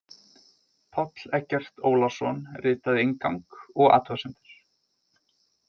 Páll Eggert Ólason ritaði inngang og athugasemdir.